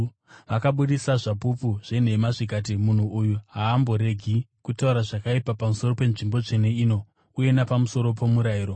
Vakabudisa zvapupu zvenhema, zvikati, “Munhu uyu haamboregi kutaura zvakaipa pamusoro penzvimbo tsvene ino uye napamusoro pomurayiro.